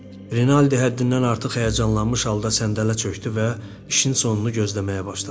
Rinaldi həddindən artıq həyəcanlanmış halda səndələ çökdü və işin sonunu gözləməyə başladı.